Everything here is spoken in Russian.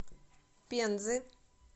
пензы